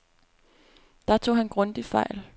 Der tog han grundigt fejl.